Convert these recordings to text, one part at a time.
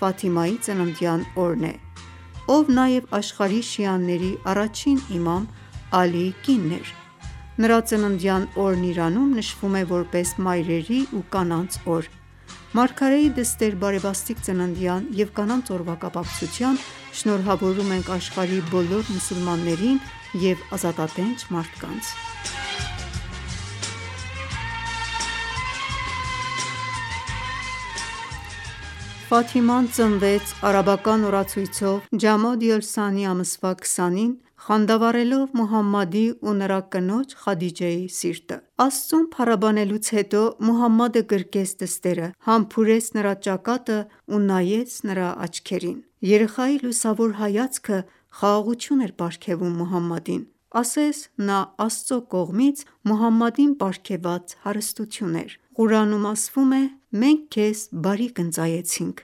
Ֆաթիմայի ծննդյան օրն է, ով աշխարհի շիաների առաջին առաջնորդ՝ իմամ Ալիի կինն էր:Նրա ծննդյան օրն Իրանում նշվում է, որպես մայրերի ու կանանց օր։ Մարգարեի դստեր բարեբաստիկ ծննդյան և Կանանց օրվա կապակցությամբ շնորհավորում ենք աշխարհի բոլոր մուսուլմաններին և ազատատենչ մարդկանց։ Ֆաթիման ծնվեց արաբական օրացույցով ջամադի օլ-սանի ամսվա 20-ին, խանդավառելով Մուհամմադի ու նրա կնոջ՝ Խադիջեի սիրտը: Աստծուն փառաբանելուց հետո, Մուհամմադը գրկեց դստերը, համբուրեց նրա ճակատն ու նայեց նրա աչքերին: Երեխայի լուսավոր հայացքը խաղաղություն էր պարգևում Մուհամմադին, ասես նա Աստծու կողմից Մուհամմադին պարգևված հարստություն էր: Ղուրանում ասվում է. «Մենք քեզ բարիք ընծայեցինք: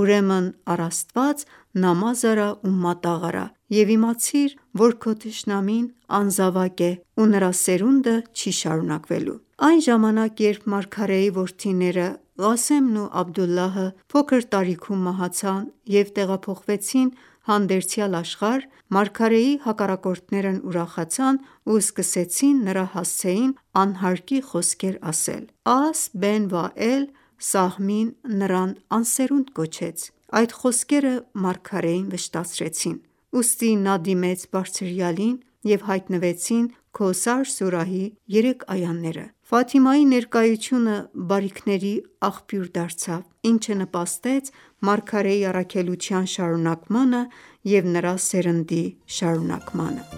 Ուրեմն առ Աստված նամազ արա ու մատաղ արա: Եվ իմացիր, որ քո թշնամին անզավակ է ու նրա սերունդը չի շարունակվելու»: Այն ժամանակ, երբ մարգարեի որդիները՝ Ղասեմն ու Աբդդուլլահը փոքր տարիքում մահացան և տեղափոխվեցին հանդերձյալ աշխարհ, մարգարեի հակառակորդներն ուրախացան ու սկսեցին նրա հասցեին անհարկի խոսքեր ասել: Աս Բեն Վաել Սահմին նրան անսերունդ կոչեց: Այդ խոսքերը մարգարեին վշտացրեցին, ուստի նա դիմեց Բարձրյալին, և հայտնվեցին Քոսար սուրահի երեք այաները: Ֆաթիմայի ներկայությունը բարիքների աղբյուր դարձավ, ինչը նպաստեց մարգարեի առաքելության շարունակմանը և նրա սերնդի շարունակմանը: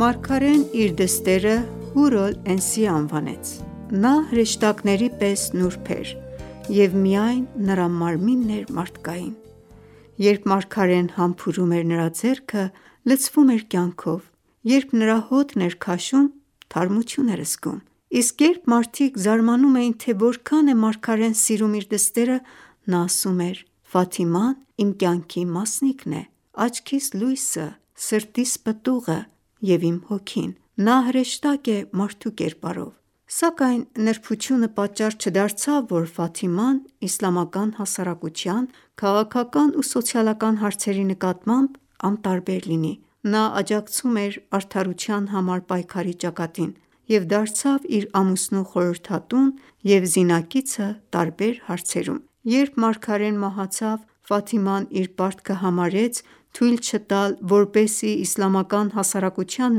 Մարգարեն իր դստերը՝ Հուր օլ Էնսիե անվանեց: Նա հրեշտակների պես նուրբ էր և միայն նրա մարմինն էր մարդկային: Երբ մարգարեն համբուրում էր նրա ձեռքը, լցվում էր կյանքով, երբ նրա հոտն էր քաշում, թարմություն էր զգում: Իսկ երբ մարդիկ զարմանում էին, թե որքան է մարգարեն սիրում իր դստերը, նա ասում էր, «Ֆաթիման իմ կյանքի մասնիկն է, աչքիս լույսը, սրտիս պտուղը, և իմ հոգին: Նա հրեշտակ է մարդու կերպարով»: Սակայն նրբությունը պատճառ չդարձավ, որ Ֆաթիման իսլամական հասարակության քաղաքական ու սոցիալական հարցերի նկատմամբ անտարբեր լիներ: Նա աջակցում էր արդարության համար պայքարի ճակատին և դարձավ իր ամուսնու խորհրդատուն և զինակիցը տարբեր հարցերում: Երբ մարգարեն մահացավ, Ֆաթիման իր պարտքը համարեց թույլ չտալ, որպեսզի իսլամական հասարակության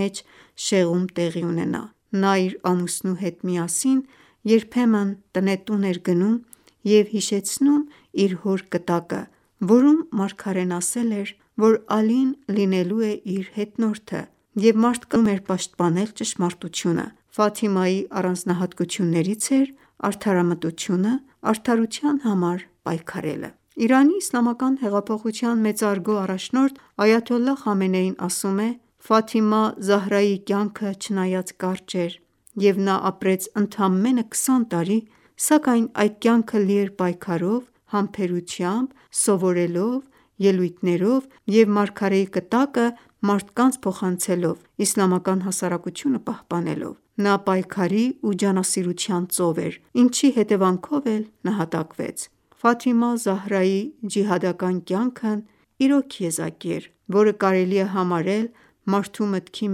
մեջ շեղում տեղի ունենա: Նա իր ամուսնու հետ միասին երբեմն տնետուն էր գնում և հիշեցնում իր հոր կտակը, որում մարգարեն ասել էր, որ Ալին լինելու է իր հետնորդը և մարդկանց հրավիրում էր պաշտպանել ճշմարտությունը: Ֆաթիմայի առանձնահատկություններից էր արդարամտությունը, արդարության համար պայքարելը։ Իրանի իսլամական հեղափոխության մեծարգո առաջնորդ Այաթոլլահ Խամենեին ասում է. «Ֆաթիմա Զահրայի կյանքը չնայած կարճ էր և նա ապրեց ընդամենը 20 տարի, սակայն այդ կյանքը լի էր պայքարով, համբերությամբ, սովորելով, ելույթներով և մարգարեի կտակը մարդկանց փոխանցելով, իսլամական հասարակությունը պահպանելով: Նա պայքարի ու ջանասիրության ծով էր, ինչի հետևանքով էլ նահատակվեց: Ֆաթիմա Զահրայի ջիհադական կյանքն իրոք եզակի էր, որը կարելի է համարել մարդու մտքի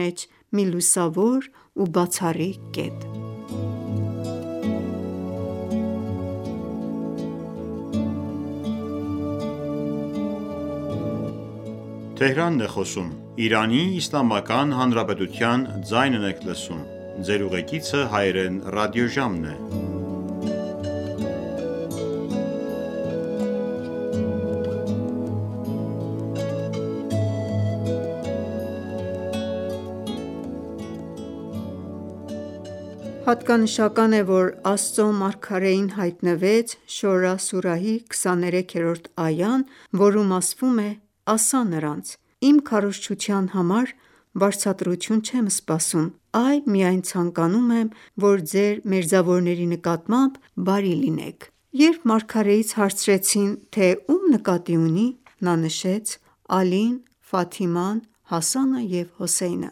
մեջ մի լուսավոր ու բացառիկ կետ»: Հատկանշական է, որ Աստծու մարգարեին հայտնվեց Շորա սուրահի 23-րդ այան, որում ասվում է «Ասա՛ նրանց. «Իմ քարոզչության համար վարձատրություն չեմ սպասում, այլ միայն ցանկանում եմ, որ ձեր մերձավորների նկատմամբ բարի լինեք»: Երբ մարգարեից հարցրեցին, թե ում նկատի ունի, նա նշեց. «Ալին, Ֆաթիման, Հասանը և Հոսեյնը»: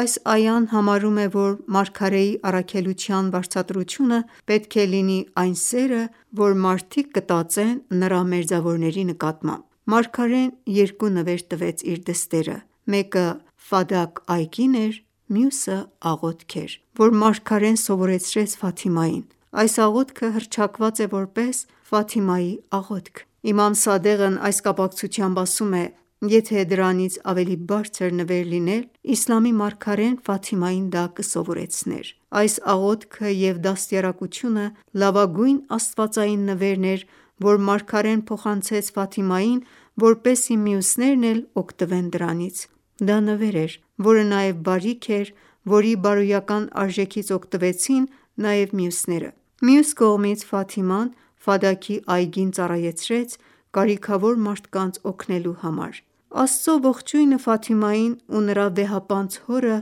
Այս այան համարում է, որ մարգարեի առաքելության վարձատրությունը պետք է լինի այն սերը, որ մարդիկ կտածեն նրա մերձավորների նկատմամբ: Մարգարեն երկու նվեր տվեց իր դստերը՝ մեկը Ֆադաք այգին էր, մյուսը՝ աղոթք էր, որ մարգարեն սովորեցրեց Ֆաթիմային: Այս աղոթքը հռչակված է որպես «Ֆաթիմայի աղոթք»: Իմամ Սադեղն այս կապակցությամբ ասում է. «Եթե դրանից ավելի բարձր նվեր լիներ, իսլամի մարգարեն Ֆաթիմային դա կսովորեցներ»: Այս աղոթքը և դաստիարակությունը լավագույն աստվածային նվերն էր, որ մարգարեն փոխանցեց Ֆաթիմային, որպեսզի մյուսներն էլ օգտվեն դրանից: Դա նվեր էր, որը նաև բարիք էր, որի բարոյական արժեքից օգտվեցին նաև մյուսները: Մյուս կողմից, Ֆաթիման Ֆադաքի այգին ծառայեցրեց կարիքավոր մարդկանց օգնելու համար: Աստծու ողջույնը Ֆաթիմային ու նրա վեհապանծ հորը,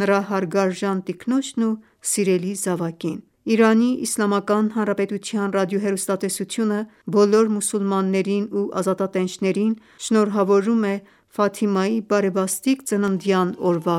նրա հարգարժան տիկնոջն ու սիրելի զավակին: ԻԻՀ ռադիոհեռուստատեսությունը բոլոր մուսուլմաններին ու ազատատենչներին շնորհավորում է Ֆաթիմայի բարեբաստիկ ծննդյան օրվա